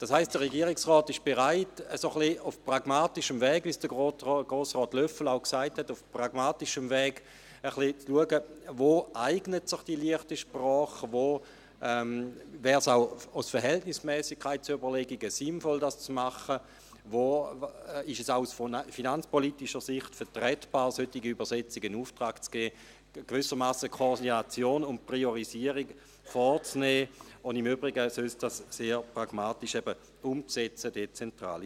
Das heisst, der Regierungsrat ist bereit, ein wenig auf pragmatischem Weg, wie es auch Grossrat Löffel gesagt hat, zu schauen, wo sich die «leichte Sprache» eignet, wo es auch aus Verhältnismässigkeitsüberlegungen sinnvoll wäre, diese umzusetzen, und wo es auch aus finanzpolitischer Sicht vertretbar ist, solche Übersetzungen in Auftrag zu geben, um gewissermassen die Koordination und die Priorisierung vorzunehmen, und im Übrigen pragmatisch, eben dezentral, umzusetzen.